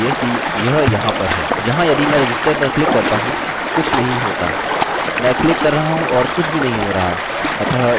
यहाँ यदि मैं register पर क्लिक करता हूँ कुछ नहीं होता मैं क्लिक कर रहा हूँ और कुछ भी नहीं हो रहा है